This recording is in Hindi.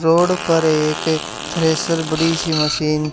रोड पर एक थ्रैशर बड़ी सी मशीन --